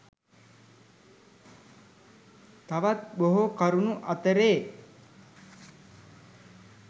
තවත් බොහෝ කරුණු අතරේ